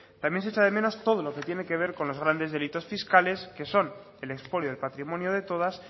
también se echa de menos todo lo que tiene que ver con los grandes delitos fiscales que son el expolio del patrimonio de todas